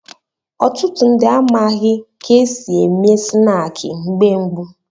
Ọtụtụ ndị amaghị ka e si eme snaakị mgbe gboo.